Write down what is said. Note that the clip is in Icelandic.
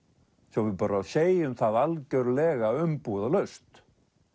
svo við bara segjum það algjörlega umbúðalaust